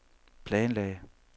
planlagte